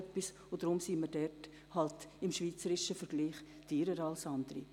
Deshalb sind wir im schweizerischen Vergleich halt teurer als andere.